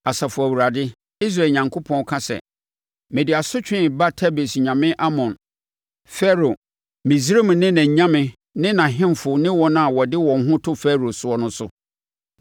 Asafo Awurade, Israel Onyankopɔn, ka sɛ, “Mede asotwe reba Tebes nyame Amon, Farao, Misraim ne nʼanyame ne nʼahemfo ne wɔn a wɔde wɔn ho to Farao soɔ no so.